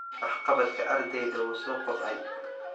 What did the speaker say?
Waxqabadka ardaydu wuu soo koobcay.